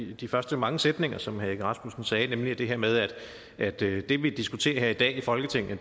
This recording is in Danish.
i de første mange sætninger som herre egge rasmussen sagde nemlig det her med at det vi diskuterer her i dag i folketinget